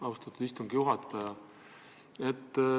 Austatud peaminister!